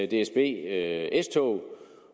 dsb s tog